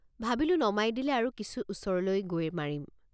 ভাবিলোঁ নমাই দিলে আৰু কিছু ওচৰলৈ গৈ মাৰিম।